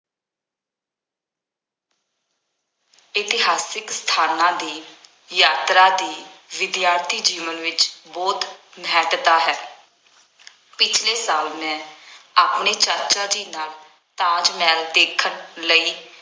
ਇਤਿਹਾਸਕ ਸਥਾਨਾਂ ਦੀ ਯਾਤਰਾ ਦੀ ਵਿਦਿਆਰਥੀ ਜੀਵਨ ਵਿੱਚ ਬਹੁਤ ਮਹੱਤਤਾ ਹੈ। ਪਿਛਲੇ ਸਾਲ ਮੈਂ ਆਪਣੇ ਚਾਚਾ ਜੀ ਨਾਲ ਤਾਜ ਮਹਿਲ ਦੇਖਣ ਲਈ